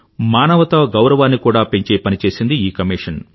మనవత గౌరవాన్ని కూడా పెంచే పని చేసింది ఈ కమీషన్